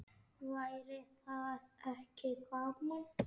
Væri það ekki gaman?